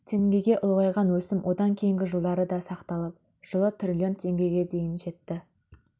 теңгеге ұлғайған өсім одан кейінгі жылдары да сақталып жылы жылы жылы триллион теңгеге дейін жетті